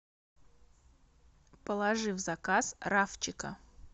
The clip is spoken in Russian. положи в заказ рафчика